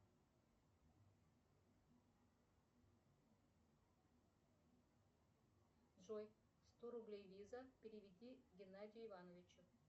джой сто рублей виза переведи геннадию ивановичу